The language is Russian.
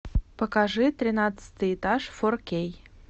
покажи тринадцатый этаж фор кей